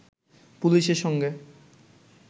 পুলিশের সঙ্গে